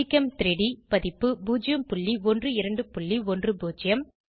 ஜிகெம்3டி பதிப்பு 01210